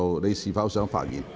你是否想發言？